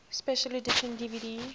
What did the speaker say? special edition dvd